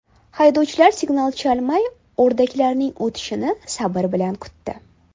Haydovchilar signal chalmay, o‘rdaklarning o‘tib olishini sabr bilan kutdi.